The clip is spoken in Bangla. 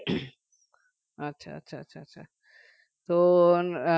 আচ্ছা আচ্ছা আচ্ছা আচ্ছা তো আহ